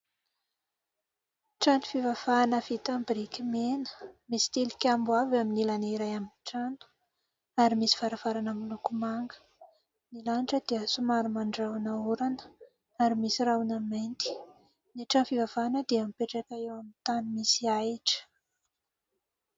Trano fivavahana vita amin'ny biriky mena, misy tilikambo avo eo amin'ny ilany iray amin'ny trano ary misy varavarana miloko manga. Ny lanitra dia somary mandrahona orana ary misy rahona mainty. Ny trano fivavahana dia mipetraka eo amin'ny tany misy ahitra.